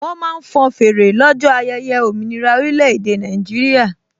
Wọ́n máa ń fọn fèrè lọ́jọ́ ayẹyẹ òmìnira orílẹ̀-èdè Nàìjíríà